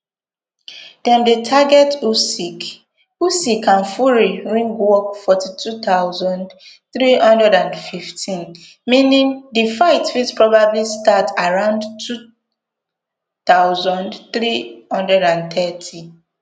dem dey target and fury ringwalks fortwo thousand, three hundred and fifteenmeaning di fight fit probably startaroundtwo thousand, three hundred and thirty